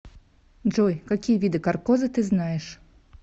джой какие виды каркоза ты знаешь